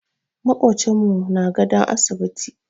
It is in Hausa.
Maƙocinmu na gadon asibiti.